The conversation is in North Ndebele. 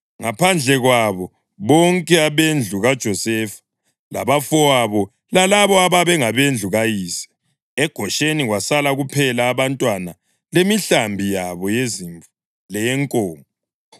ngaphandle kwabo bonke abendlu kaJosefa labafowabo lalabo ababe ngabendlu kayise. EGosheni kwasala kuphela abantwana lemihlambi yabo yezimvu leyenkomo.